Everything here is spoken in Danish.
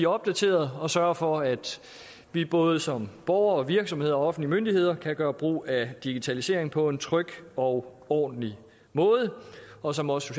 opdaterede og sørger for at vi både som borgere og virksomheder og offentlige myndigheder kan gøre brug af digitaliseringen på en tryg og ordentlig måde og som også